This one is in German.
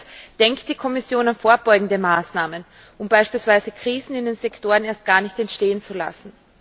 Zweitens Denkt die Kommission an vorbeugende Maßnahmen, um beispielsweise Krisen in den Sektoren erst gar nicht entstehen zu lassen?